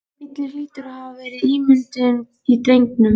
Bíllinn hlýtur að hafa verið ímyndun í drengnum.